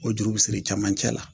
O juru bi siri camancɛ la